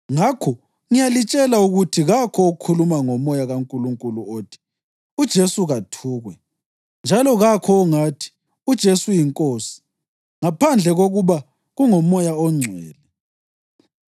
Ngakho ngiyalitshela ukuthi kakho okhuluma ngoMoya kaNkulunkulu othi, “UJesu kathukwe,” njalo kakho ongathi, “UJesu yiNkosi,” ngaphandle kokuba kungoMoya oNgcwele.